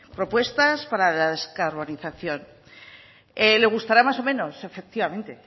propuestas para la descarbonización le gustará más o menos efectivamente